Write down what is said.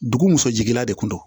Dugu muso jiginna de kun do